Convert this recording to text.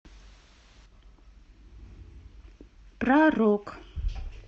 про рок